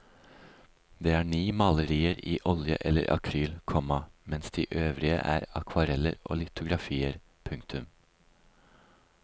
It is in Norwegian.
Det er ni malerier i olje eller akryl, komma mens de øvrige er akvareller og litografier. punktum